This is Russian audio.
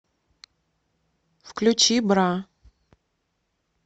включи бра